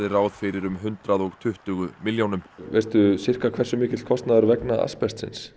ráð fyrir um hundrað og tuttugu milljónum veistu sirka hversu mikill kostnaður vegna